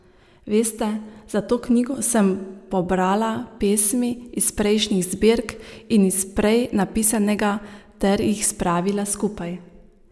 Veste, za tisto knjigo sem pobrala pesmi iz prejšnjih zbirk in iz prej napisanega ter jih spravila skupaj.